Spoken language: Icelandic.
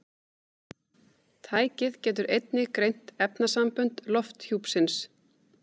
Tækið getur einnig greint efnasambönd lofthjúpsins.